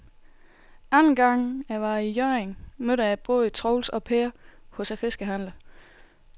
Anden gang jeg var i Hjørring, mødte jeg både Troels og Per hos fiskehandlerne.